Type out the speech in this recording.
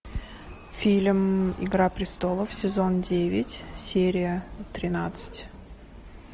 фильм игра престолов сезон девять серия тринадцать